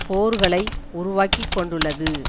போர்களை உருவாக்கிக்கொண்டுள்ளது